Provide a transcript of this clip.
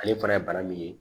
Ale fana ye bana min ye